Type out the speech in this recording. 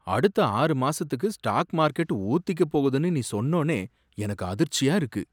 அடுத்த ஆறு மாசத்துக்கு ஸ்டாக் மார்கெட் ஊத்திக்கப் போகுதுன்னு நீ சொன்னோனே எனக்கு அதிர்ச்சியா இருக்கு.